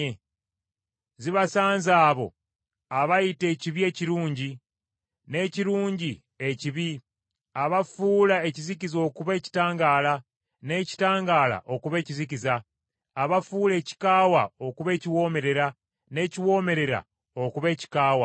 Zibasanze abo abayita ekibi ekirungi n’ekirungi ekibi, abafuula ekizikiza okuba ekitangaala, n’ekitangaala okuba ekizikiza, abafuula ekikaawa okuba ekiwoomerera n’ekiwoomerera okuba ekikaawa.